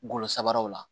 Golo sababu la